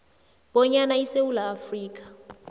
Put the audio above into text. bonyana isewula afrika